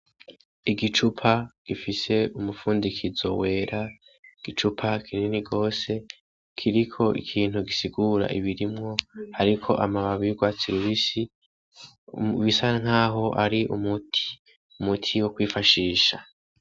Igicupa gifise umufundikizo wera, igicupa kinini gose kiriko ikintu gisigura ibirimwo hariko amababi y'urwatsi rubisi bisa nkaho ar'umuti, umuti wo kwifashisha.